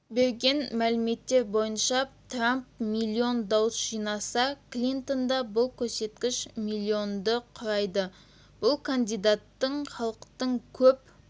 берген мәліметтер бойынша трамп миллион дауыс жинаса клинтонда бұл көрсеткіш миллионды құрайды бұл кандидаттың халықтың көп